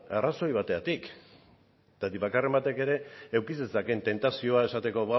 arrazoi batengatik zergatik bakarren batek ere eduki zezakeen tentazioa esateko